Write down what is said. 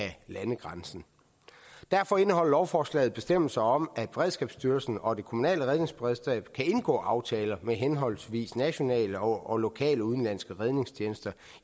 af landegrænsen derfor indeholder lovforslaget bestemmelser om at beredskabsstyrelsen og det kommunale redningsberedskab kan indgå aftaler med henholdsvis nationale og lokale udenlandske redningstjenester